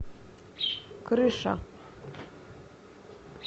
крыша